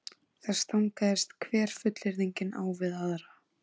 Það stangaðist hver fullyrðingin á við aðra.